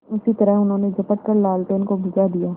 उसी तरह उन्होंने झपट कर लालटेन को बुझा दिया